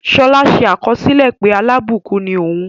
Ṣọlá ṣe àkọsílẹ̀ pé alábùkún ni òun.